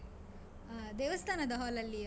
ಹಾ, ದೇವಸ್ಥಾನದ hall ಅಲ್ಲಿಯಾ?